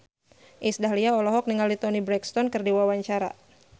Iis Dahlia olohok ningali Toni Brexton keur diwawancara